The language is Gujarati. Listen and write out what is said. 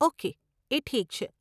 ઓકે, એ ઠીક છે.